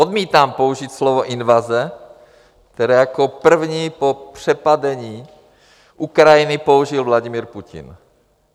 Odmítám použít slovo invaze, které jako první po přepadení Ukrajiny použil Vladimir Putin.